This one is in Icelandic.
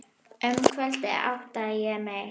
Um kvöldið áttaði ég mig.